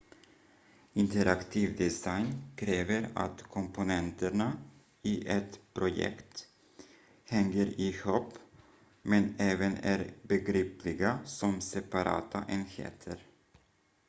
interaktiv design kräver att komponenterna i ett projekt hänger ihop men även är begripliga som separata enheter